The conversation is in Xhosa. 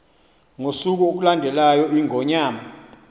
ngosuku olulandelayo iingonyama